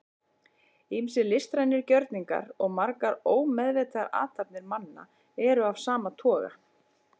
ýmsir listrænir gjörningar og margar ómeðvitaðar athafnir manna eru af sama toga